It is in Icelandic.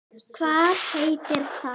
Hvað heitir það?